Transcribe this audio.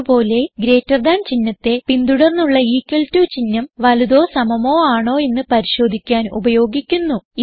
അത് പോലെ greater than ചിഹ്നത്തെ പിന്തുടർന്നുള്ള ഇക്വൽ ടോ ചിഹ്നം വലുതോ സമമോ അണോ എന്ന് പരിശോധിക്കാൻ ഉപയോഗിക്കുന്നു